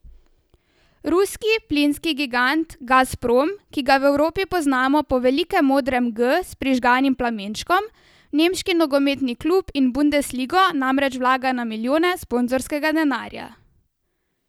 Ruski plinski gigant Gazprom, ki ga v Evropi poznamo po velikem modrem G s prižganim plamenčkom, v nemški nogometni klub in v bundesligo namreč vlaga na milijone sponzorskega denarja.